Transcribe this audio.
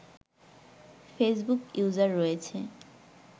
Facebook user রয়েছে